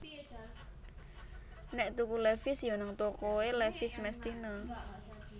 nek tuku levis yo nang toko e Levis mestine